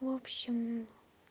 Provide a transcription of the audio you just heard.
вобщем